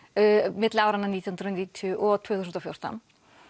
milli nítján hundruð og níutíu og tvö þúsund og fjórtán